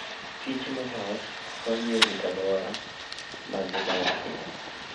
Kich molos konyo e rito alwora ma gidakie.